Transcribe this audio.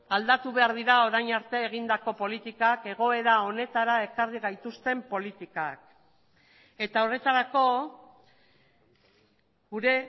aldatu behar dira orain arte egindako politikak egoera honetara ekarri gaituzten politikak eta horretarako gure